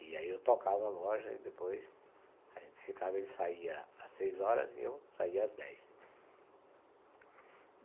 E aí eu tocava a loja e depois a gente ficava, ele saía às seis horas e eu saía às dez.